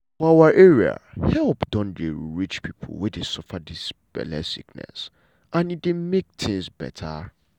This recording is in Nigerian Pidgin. for our area help don dey reach people wey dey suffer dis belle sickness and e dey make tins beta.